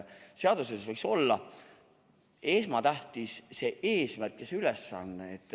Seaduses võiks olla esmatähtis see eesmärk ja ülesanne.